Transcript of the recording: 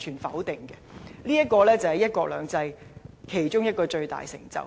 這個就是"一國兩制"其中一個最大成就。